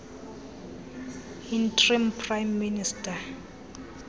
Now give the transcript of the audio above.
interim prime minister